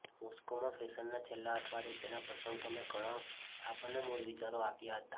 મોસ્કોમાં ફેશનના છેલ્લા અઠવાડિયે તેના પ્રશંસકોને ઘણો છાપ અને મૂળ વિચારો આપ્યા હતા